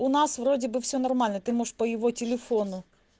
у нас вроде бы всё нормально ты можешь по его телефону